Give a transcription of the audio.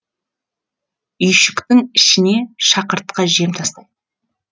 үйшіктің ішіне шақыртқы жем тастайды